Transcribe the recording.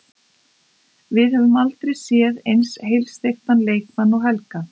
Við höfum aldrei séð eins heilsteyptan leikmann og Helga.